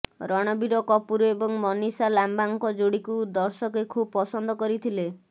ରଣବୀର କପୁର ଏବଂ ମିନିଷା ଲାମ୍ବାଙ୍କ ଯୋଡ଼ିଙ୍କୁ ଦର୍ଶକେ ଖୁବ୍ ପସନ୍ଦ କରିଥିଲେ